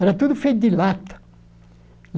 Era tudo feito de lata.